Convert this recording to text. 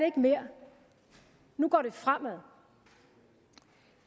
ikke mere nu går det fremad